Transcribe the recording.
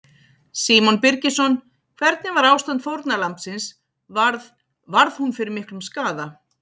Símon Birgisson: Hvernig var ástand fórnarlambsins, varð, varð hún fyrir miklum skaða?